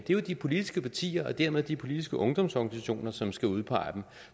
det er jo de politiske partier og dermed de politiske ungdomsorganisationer som skal udpege dem